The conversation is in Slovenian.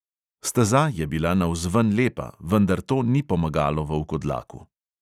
Steza je bila navzven lepa, vendar to ni pomagalo volkodlaku.